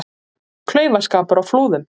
Klaufaskapur á Flúðum